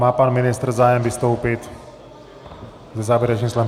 Má pan ministr zájem vystoupit se závěrečným slovem?